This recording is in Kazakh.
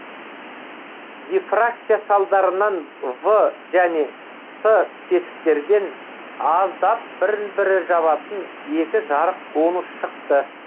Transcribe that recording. дифракция салдарынан в және с тесіктерден аздап бірін бірі жабатын екі жарық конус шықты